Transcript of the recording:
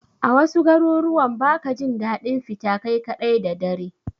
A wasu garuruwan ba ka jin daɗin fita kai kaɗai da dare.